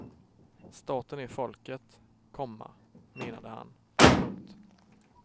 Staten är folket, komma menade han. punkt